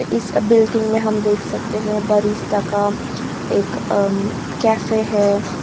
इस बिल्डिंग में हम देख सकते हैं बरिस्ता का एक अं कैफ़े है।